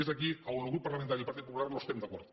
és aquí on el grup parlamentari del partit popular no estem d’acord